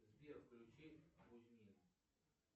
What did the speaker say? сбер включи кузьмин